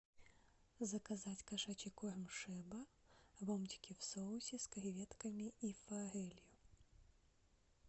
заказать кошачий корм шеба ломтики в соусе с креветками и форелью